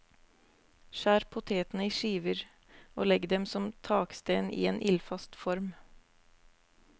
Skjær potetene i skiver, og legg dem som taksten i en ildfast form.